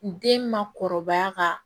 Den ma kɔrɔbaya ka